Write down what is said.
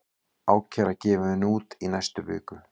Ákæra gefin út í næstu viku